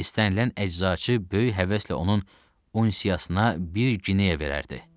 İstənilən əczaçı böyük həvəslə onun unsiyasına bir qineya verərdi.